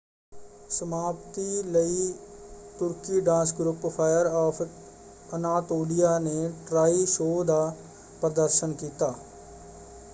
ਸਮਾਪਤੀ ਲਈ ਤੁਰਕੀ dance group Fire of Anatolia ਨੇ ਟ੍ਰਾਇ ਸ਼ੋਅ ਦਾ ਪ੍ਰਦਰਸ਼ਨ ਕੀਤਾ।